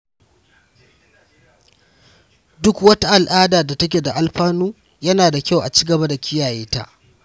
Duk wata al’ada da take da alfanu, yana da kyau a ci gaba da kiyaye ta.